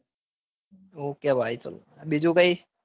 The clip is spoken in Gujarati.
ok ભાઈ. બીજું કાંઈ.